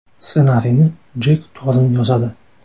Ssenariyni Jek Torn yozadi.